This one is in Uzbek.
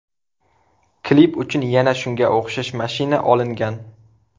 Klip uchun yana shunga o‘xshash mashina olingan.